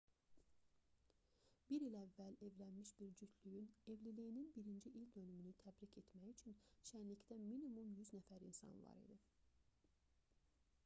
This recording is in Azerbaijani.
bir il əvvəl evlənmiş bir cütlüyün evliliyinin birinci ildönümünü təbrik etmək üçün şənlikdə minimum 100 nəfər insan var idi